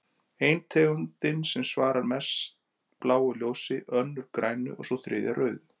Ein tegundin svarar mest bláu ljósi, önnur grænu og sú þriðja rauðu.